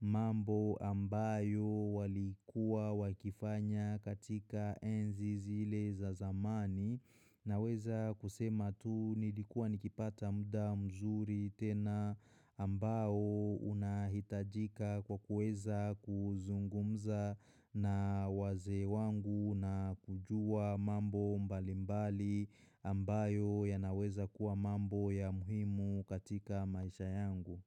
mambo ambayo walikuwa wakifanya katika enzi zile za zamani Naweza kusema tu nilikua nikipata muda mzuri tena ambayo unahitajika kwa kuweza kuzungumza na wazee wangu na kujua mambo mbalimbali ambayo yanaweza kuwa mambo ya muhimu katika maisha yangu.